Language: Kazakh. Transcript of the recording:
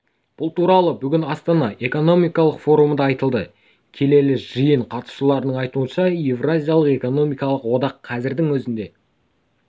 бұл туралы бүгін астана экономикалық форумында айтылды келелі жиын қатысушыларының айтуынша еуразиялық экономикалық одақ қазірдің өзінде